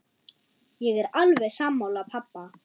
Ég er alveg sammála pabba.